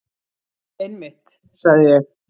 Einmitt, sagði ég.